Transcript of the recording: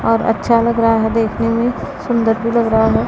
और अच्छा लग रहा है देखने मे सुंदर भी लग रहा है।